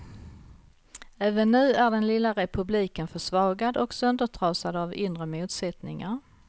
Även nu är den lilla republiken försvagad och söndertrasad av inre motsättningar.